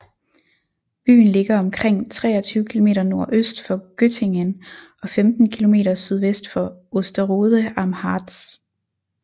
Byen ligger omkring 23 km nordøst for Göttingen og 15 km sydvest for Osterode am Harz